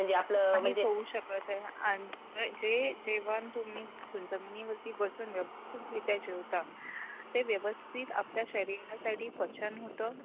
आन जे जेवण तुम्ही जमिनीवरती बसून व्यवस्थित रित्या जे काही जेवता ते व्यवस्थित आपल्या शरीरासाठी पचन होत.